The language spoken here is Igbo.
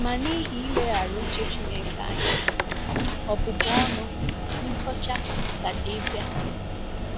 Ma n’ihi ileghara uche Chineke anya, ọbụbụ ọnụ, nkọcha, gaje ịbịa.